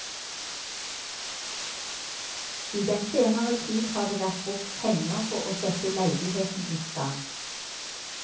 I den senere tid har det vært brukt penger på å sette leiligheten i stand.